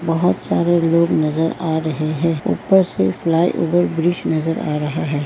बहुत सारे लोग नजर आ रहे हैं ऊपर से फ्लाइओवर ब्रिज नजर आ रहा है।